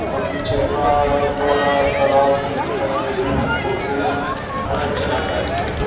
और पीछे का बड़ा तालाब दिखता है उसमें हर फोटो में बड़ा अच्छा लगता है --